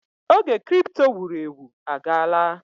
Oge kripto wuru ewu agaala.